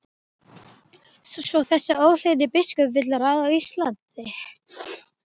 Svo þessi óhlýðni biskup vill ráða Íslandi?